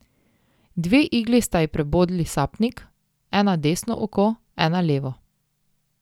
Dve igli sta ji prebodli sapnik, ena desno oko, ena levo.